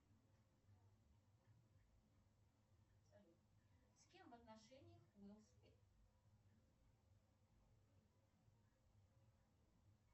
салют с кем в отношениях уилл смит